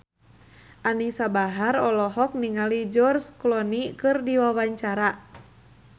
Anisa Bahar olohok ningali George Clooney keur diwawancara